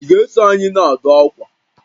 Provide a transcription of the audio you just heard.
Ị ga-eso anyị na-adụ akwa?